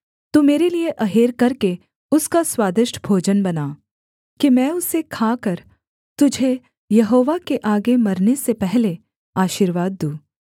तू मेरे लिये अहेर करके उसका स्वादिष्ट भोजन बना कि मैं उसे खाकर तुझे यहोवा के आगे मरने से पहले आशीर्वाद दूँ